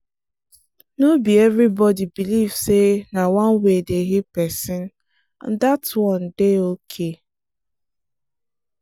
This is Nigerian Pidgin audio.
no be everybody believe say na one way dey heal person and that one dey okay.